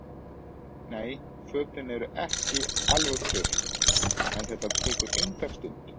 Nei, fötin eru ekki alveg þurr en þetta tekur enga stund.